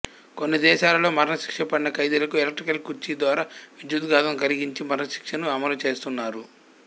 కొన్ని దేశాలలో మరణశిక్ష పడిన ఖైదీలకు ఎలక్ట్రిక్ కుర్చీ ద్వారా విద్యుద్ఘాతము కలిగించి మరణశిక్షను ఆమలు చేస్తున్నారు